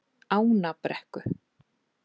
Ánabrekku